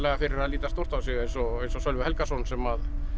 fyrir að líta stórt á sig eins og eins og Sölvi Helgason sem